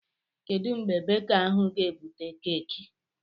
Kedụ mgbe beka ahụ ga-ebute keeki?